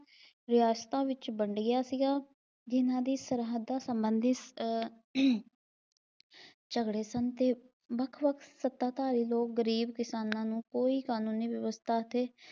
ਵਿਰਾਸਤਾਂ ਵਿਚ ਵੰਡ ਗਿਆ ਸੀਗਾ ਜਿਨ੍ਹਾਂ ਦੀ ਸਰਹੱਦਾਂ ਸਬੰਧੀ ਅਹ ਝਗੜੇ ਸਨ ਤੇ ਵੱਖ-ਵੱਖ ਸੱਤਾਧਾਰੀ ਲੋਕ ਗਰੀਬ ਕਿਸਾਨਾਂ ਨੂੰ ਕੋਈ ਕਾਨੂੰਨੀ ਵਿਵਸਥਾ ਅਤੇ